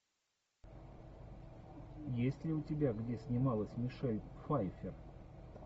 есть ли у тебя где снималась мишель пфайффер